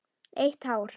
Eitt hár.